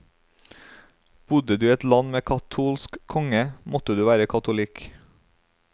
Bodde du i et land med katolsk konge, måtte du være katolikk.